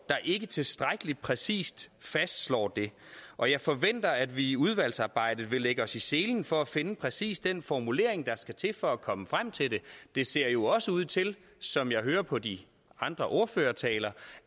der ikke tilstrækkelig præcist fastslår det og jeg forventer at vi i udvalgsarbejdet vil lægge os i selen for at finde præcis den formulering der skal til for at komme frem til det det ser jo også ud til som jeg hører på de andre ordførertaler